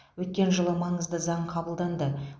өткен жылы маңызды заң қабылданды